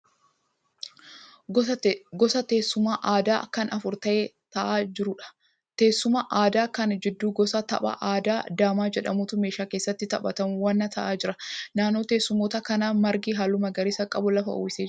Gosa teessuma aadaa kan afur ta'ee ta'aa jiruudha Teessuma aadaa kana gidduu gosa tapha aadaa daamaa jedhamutu meeshaa keessatti taphatamu waliin ta'aa jira. Naannoo teessumoota kanaa margi halluu magariisa qabu lafa uwwisee jira.